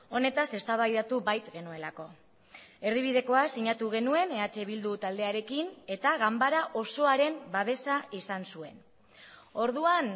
honetaz eztabaidatu bait genuelako erdibidekoa sinatu genuen eh bildu taldearekin eta ganbara osoaren babesa izan zuen orduan